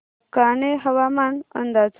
कान्हे हवामान अंदाज